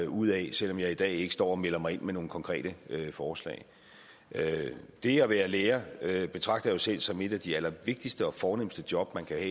ud af selv om jeg i dag ikke står og melder mig ind med nogle konkrete forslag det at være lærer betragter jeg selv som et af de allervigtigste og fornemste job man kan